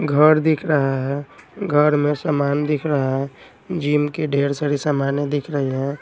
घर दिख रहा है घर में सामान दिख रहा है जिम की ढेर सारी सामाने दिख रही हैं।